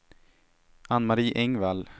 Ann-Mari Engvall